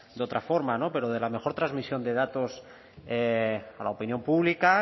de otra forma no pero de la mejor transmisión de datos a la opinión pública